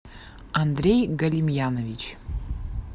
андрей галимьянович